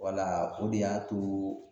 Wala o de y'a to